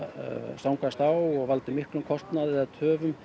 stangast á og valdi miklum kostnaði eða töfum